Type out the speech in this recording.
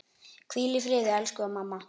Hvíl í friði elsku mamma.